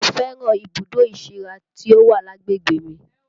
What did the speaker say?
Mo fẹ́ràn ibùdó ìsíra tí ó wà lágbègbè mi